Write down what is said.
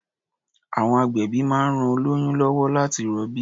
À̀wọn agbẹ̀bí máa ń ran oĺyún lọ́wọ́ láti rọbí.